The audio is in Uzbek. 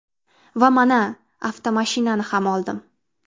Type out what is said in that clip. Va mana avtomashinani ham oldim.